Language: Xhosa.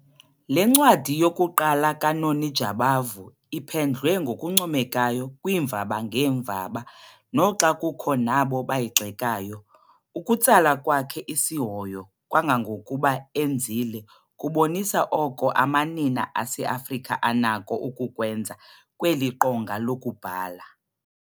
Le ncwadi yokuqala kaNoni Jabavu iphendlwe ngokuncomekayo kwiimvaba ngeemvaba noxa kukho nabo bayigxekayo. Ukutsala kwakhe isihoyo kangangokuba enzile kubonisa oko amanina aseAfrika anakho ukukwenza kweli qonga lokubhala.